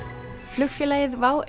flugfélagið WOW